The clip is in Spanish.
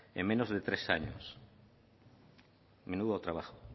en menos de tres años menudo trabajo